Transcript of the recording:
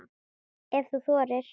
Ef þú þorir!